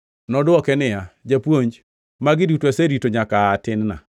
Nodwoke niya, “Japuonj, magi duto aserito nyaka aa tin-na.”